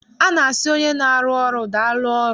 A na-asị onye na-arụ ọrụ, daalụ ọrụ.